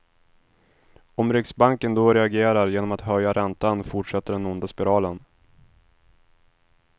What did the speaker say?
Om riksbanken då reagerar genom att höja räntan fortsätter den onda spiralen.